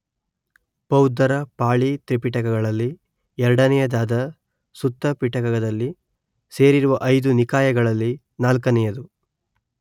ಬೌದ್ಧರ ಪಾಳಿ ತ್ರಿಪಿಟಕಗಳಲ್ಲಿ ಎರಡನೆಯದಾದ ಸುತ್ತಪಿಟಕದಲ್ಲಿ ಸೇರಿರುವ ಐದು ನಿಕಾಯಗಳಲ್ಲಿ ನಾಲ್ಕನೆಯದು